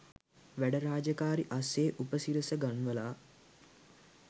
වැඩ රාජකාරි අස්සේ උපසිරස ගන්වලා